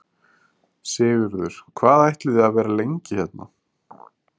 Sigurður: Hvað ætlið þið að vera lengi hérna?